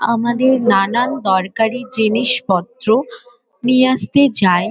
আমাদের নানান দরকারি জিনিসপত্র নিয়ে আসতে যায়।